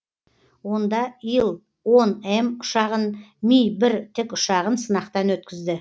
онда ил он м ұшағын ми бір тікұшағын сынақтан өткізді